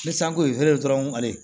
Ni sanko ye feere dɔrɔn ale